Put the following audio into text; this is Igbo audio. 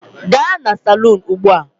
Gaa na salun ugbu a!